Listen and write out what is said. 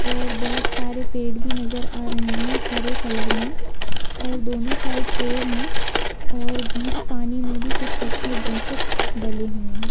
और बहुत सारे पेड़ भी नजर आ रहे है हरे कलर में और दोनों साईड पेड़ है और बीच पानी में कूछ पत्थर जैसे डले हुए है।